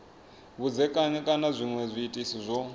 vhudzekani kana zwinwe zwiitisi zwo